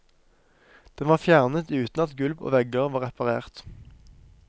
Den var fjernet uten at gulv og vegger var reparert.